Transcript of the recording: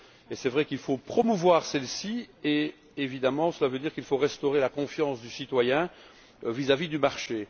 C'est vrai qu'il faut la promouvoir et, évidemment, cela veut dire qu'il faut restaurer la confiance du citoyen vis à vis du marché.